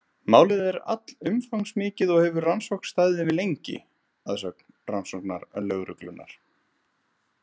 Málið er allumfangsmikið og hefur rannsókn staðið yfir lengi, að sögn rannsóknarlögreglunnar.